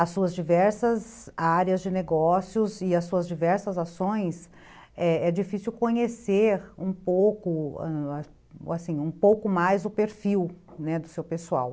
As suas diversas áreas de negócios e as suas diversas ações, é é difícil conhecer um pouco mais o perfil, né, do seu pessoal.